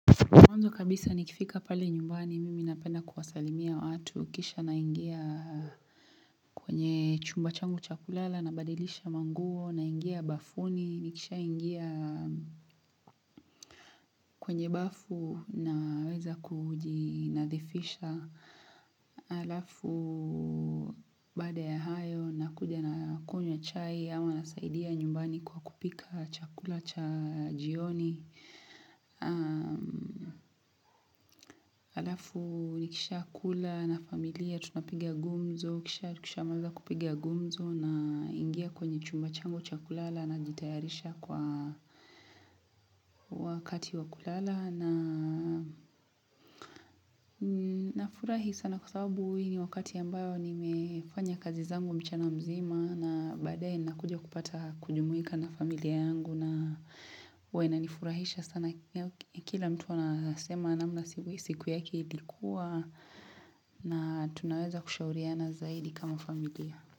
Mwanzo kabisa nikifika pale nyumbani, mimi napenda kuwasalimia watu, kisha naingia kwenye chumba changu cha kulala, nabadilisha manguo, naingia bafuni, nikishaingia kwenye bafu naweza kujinadhifisha alafu baada ya hayo, nakuja nakunywa chai, ama nasaidia nyumbani kwa kupika chakula cha jioni. Alafu nikisha kula na familia tunapiga gumzo kisha tukishamaliza kupigia gumzo naingia kwenye chumba changu cha kulala najitayarisha kwa wakati wa kulala nafurahi sana kwa sababu hii ni wakati ambayo nimefanya kazi zangu mchana mzima na baadaye nakuja kupata kujumuika na familia yangu na huwa inanifurahisha sana kila mtu anasema namna siku yake ilikua na tunaweza kushauriana zaidi kama familia.